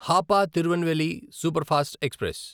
Hapa Tirunelveli superfast express